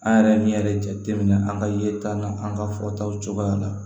An yɛrɛ min yɛrɛ jateminɛ an ka yeta n'an ka fɔtaw cogoya la